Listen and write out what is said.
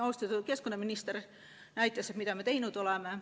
Austatud keskkonnaminister näitas, mida me teinud oleme.